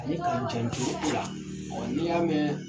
Ale kancɛn juru ula ɔ n'i ya mɛn